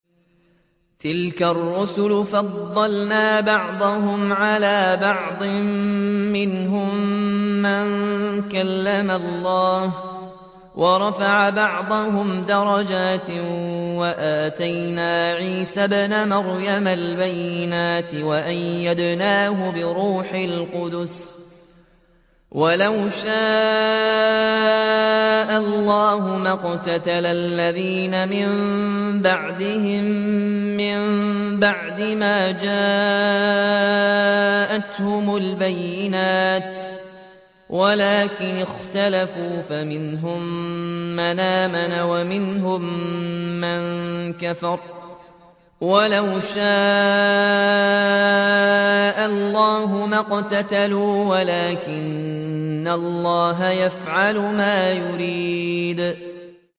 ۞ تِلْكَ الرُّسُلُ فَضَّلْنَا بَعْضَهُمْ عَلَىٰ بَعْضٍ ۘ مِّنْهُم مَّن كَلَّمَ اللَّهُ ۖ وَرَفَعَ بَعْضَهُمْ دَرَجَاتٍ ۚ وَآتَيْنَا عِيسَى ابْنَ مَرْيَمَ الْبَيِّنَاتِ وَأَيَّدْنَاهُ بِرُوحِ الْقُدُسِ ۗ وَلَوْ شَاءَ اللَّهُ مَا اقْتَتَلَ الَّذِينَ مِن بَعْدِهِم مِّن بَعْدِ مَا جَاءَتْهُمُ الْبَيِّنَاتُ وَلَٰكِنِ اخْتَلَفُوا فَمِنْهُم مَّنْ آمَنَ وَمِنْهُم مَّن كَفَرَ ۚ وَلَوْ شَاءَ اللَّهُ مَا اقْتَتَلُوا وَلَٰكِنَّ اللَّهَ يَفْعَلُ مَا يُرِيدُ